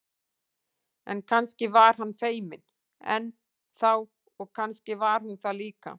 En kannski var hann feiminn enn þá og kannski var hún það líka.